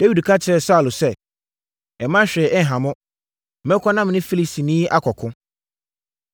Dawid ka kyerɛɛ Saulo sɛ, “Mma hwee nha wo. Mɛkɔ na me ne Filistini yi akɔko.”